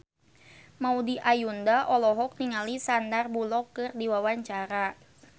Maudy Ayunda olohok ningali Sandar Bullock keur diwawancara